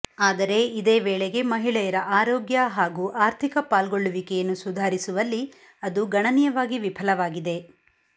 ಆದರೆ ಇದೇ ವೇಳೆಗೆ ಮಹಿಳೆಯರ ಆರೋಗ್ಯ ಹಾಗೂ ಆರ್ಥಿಕ ಪಾಲ್ಗೊಳ್ಳುವಿಕೆಯನ್ನು ಸುಧಾರಿಸುವಲ್ಲಿ ಅದು ಗಣನೀಯವಾಗಿ ವಿಫಲವಾಗಿದೆ